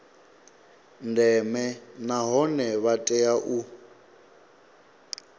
ndeme nahone vha tea u